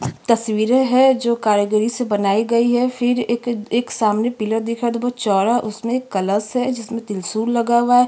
तस्वीरे है जो कारीगरी से बनाई गई है फिर एक एक सामने पिलर दिख रहा है जो बहुत चोड़ा उसमे कलश है जिसमे त्रिशूल लगा हुआ है।